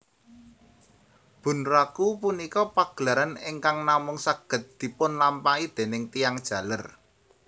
Bunraku punika pagelaran ingkang namung saged dipunlampahi déning tiyang jaler